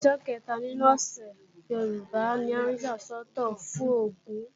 Ọjọ́ kẹta nínú ọ̀sẹ̀ Yorùbá ni a yà sọ́tọ̀ fún Ògún